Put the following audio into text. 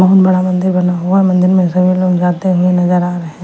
बहुत बड़ा मंदिर बना हुआ है मंदिर में सभी लोग जाते हुए नजर आ रहे हैं।